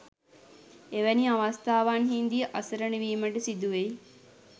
එවැනි අවස්ථාවන්හිදී අසරණවීමට සිදුවෙයි.